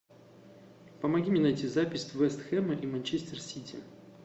помоги мне найти запись вест хэма и манчестер сити